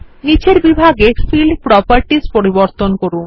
নীচের বিভাগে field properties পরিবর্তন করুন